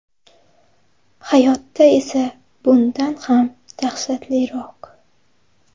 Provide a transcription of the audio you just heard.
Hayotda esa bundan ham dahshatliroq.